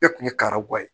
Bɛɛ kun ye karamɔgɔ ye